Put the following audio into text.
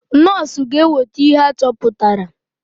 Nọs ga eweta ihe achọpụtara.